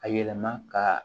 A yɛlɛma ka